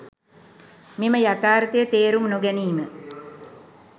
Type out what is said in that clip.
මෙම යථාර්ථය තේරුම් නොගැනීම